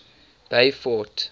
beaufort